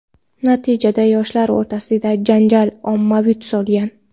Natijada, yoshlar o‘rtasidagi janjal ommaviy tus olgan.